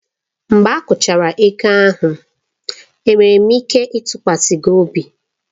Mgbe akwụchara ego ahụ, enwere m ike ịtụkwasị gị obi?